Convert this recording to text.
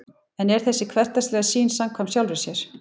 en er þessi hversdagslega sýn samkvæm sjálfri sér